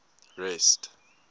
rest